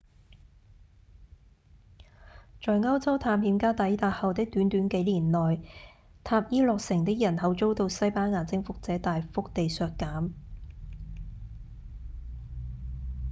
在歐洲探險家抵達後的短短幾年內塔伊諾城的人口遭到西班牙征服者大幅地削減